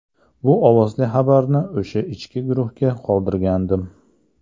Bu ovozli xabarni o‘sha ichki guruhda qoldirgandim.